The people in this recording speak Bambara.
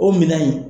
O minan in